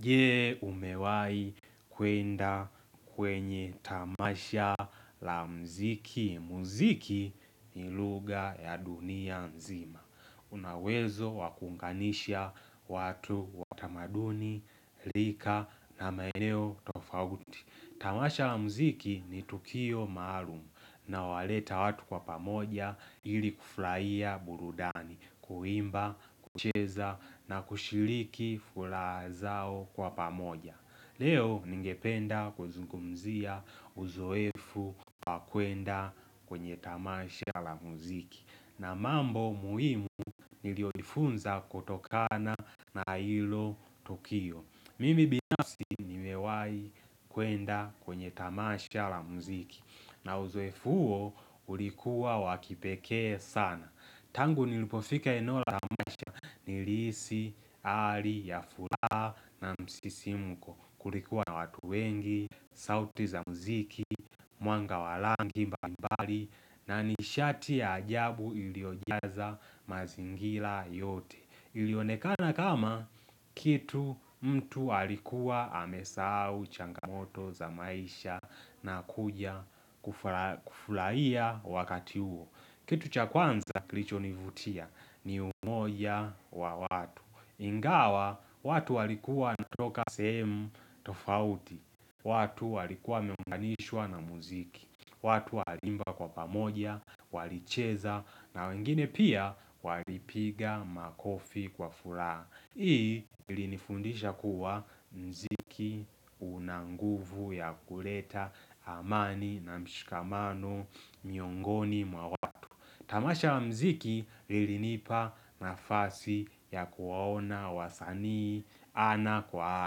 Je umewai kwenda kwenye tamasha la muziki. Muziki ni lugha ya dunia nzima. Una uwezo wakunganisha watu watamaduni, lika na maeneo tofauti. Tamasha la muziki ni Tukio maalumu na unowaleta watu kwa pamoja ili kufurahia burudani, kuimba, kucheza na kushiliki fulaha zao kwa pamoja. Leo ningependa kuzungumzia uzoefu kwa kwenda kwenye tamasha la muziki na mambo muhimu niliojifunza kutokana na ilo Tukio. Mimi binasi nimewai kuwenda kwenye tamasha la muziki na uzefu ho ulikuwa wakipekee sana. Tangu nilipofika enola tamasha ni lihsi, hali, ya fula na msisimuko. Kulikuwa na watu wengi, sauti za muziki, mwanga walangi, mba mbali na nishati ya ajabu iliojaza mazingira yote. Ilionekana kama kitu mtu alikuwa amesau changamoto za maisha na kuja kufuraia wakati huo. Kitu cha kwanza kilicho nivutia ni umoja wa watu. Ingawa watu walikuwa wanatoka sehemu tofauti. Watu walikuwa wameumganishwa na muziki. Watu walimba kwa pamoja, walicheza, na wengine pia walipiga makofi kwa furaha. Hii ilinifundisha kuwa muziki unanguvu ya kuleta amani na mshikamano miongoni mwa watu. Tamasha wa mziki ilinipa nafasi ya kuwaona wasanii ana kwa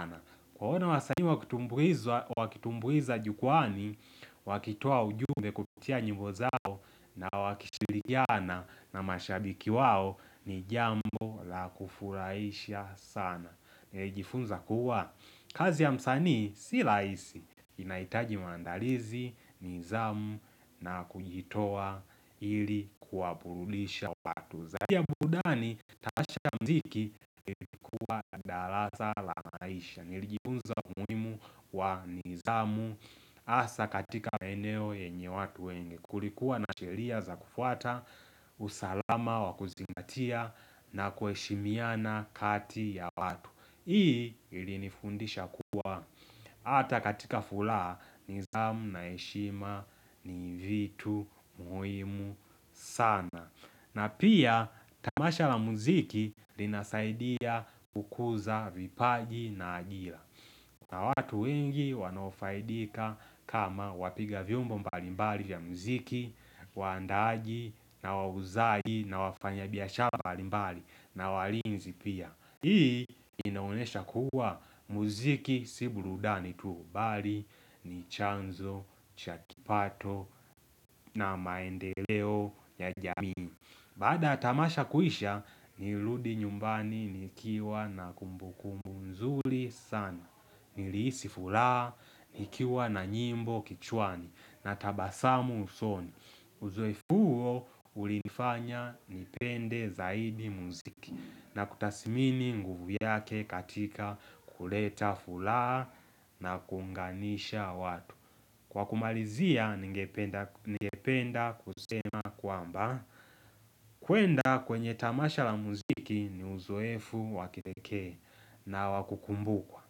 ana. Kuwaona wasani wakitumbuiza jukwani, wakitua ujumbe kupitia nyimbo zao na wakishirikiana na mashabiki wao ni jambo la kufuraisha sana. Nijifunza kuwa, kazi ya msani si laisi inaitaji mandalizi, nidhamu na kujitoa ili kuwaburudisha wapatu. Zaidi ya burudani tamasha la muziki ilikuwa darasa la maisha Nilijifunza umuhimu wa nidhamu Asa katika maeneo yenye watu wengi Kulikuwa na sheria za kufuata usalama wa kuzingatia na kuheshimiana kati ya watu Hii ili nifundisha kuwa ata katika furaha nidhamu na heshima ni vitu muhimu sana na pia tamasha la muziki linasaidia kukuza vipaji na ajira na watu wengi wanofaidika kama wapiga viumbo mbalimbali ya muziki Waandaaji na wauzaji na wafanya biashala mbali na walinzi pia Hii inaonesha kuwa muziki si burudani tu mbali ni chanzo, chakipato na maendeleo ya jamii Baada tamasha kuisha nilirudi nyumbani nikiwa na kumbumbu mzuli sana Nilisi furahaa nikiwa na nyimbo kichwani na tabasamu usoni Uzoefu ulinifanya nipende zaidi muziki na kutasimini nguvu yake katika kuleta furaha na kunganisha watu Kwa kumalizia ningependa kusema kwamba kwenda kwenye tamasha la muziki ni uzoefu wakipekee nawakukumbukwa.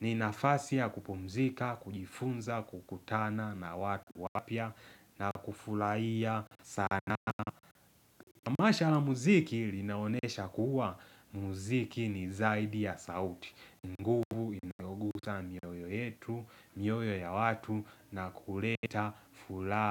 Ni nafasi ya kupumzika, kujifunza, kukutana na watu wapya na kufulaiya sana. Tamasha la muziki ilinaonesha kuwa muziki ni zaidi ya sauti. Nguvu iliyoguza mioyo yetu, mioyo ya watu na kuleta furaha.